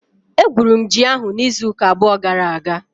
Egwuru m ji ahụ n'izu ụka abụọ gara aga.